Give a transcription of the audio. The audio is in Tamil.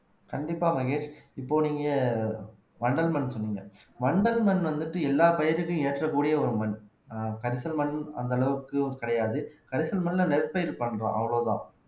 கண்டிப்பா மகேஷ் இப்போ நீங்க வண்டல் மண் சொன்னீங்க வண்டல் மண் வந்துட்டு எல்லா பயிருக்கும் ஏற்றக்கூடிய ஒரு மண் கரிசல் மண் அந்த அளவுக்கு கிடையாது கரிசல் மண்ல நெற்பயிர் பண்றோம் அவ்வளவுதான்